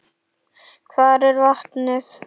Hvar er vatnið?